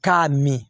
K'a min